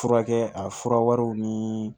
Furakɛ a fura wɛrɛw ni